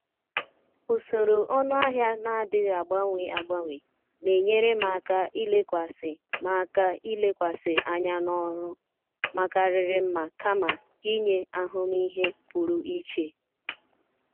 Ụsọrọ ọnụahịa na-adighi agbanwe agbanwe na-enyere m aka ilekwasị m aka ilekwasị anya n' ọrụ um makariri mma kama inye ahụmịhe pụrụ iche.